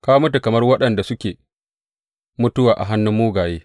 Ka mutu kamar waɗanda suke mutuwa a hannun mugaye.